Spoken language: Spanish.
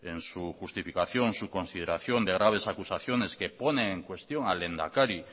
en su justificación su consideración de graves acusaciones que ponen en cuestión al lehendakari